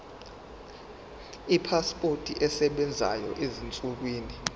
ipasipoti esebenzayo ezinsukwini